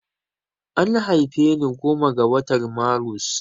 An haife ni goma ga watan marus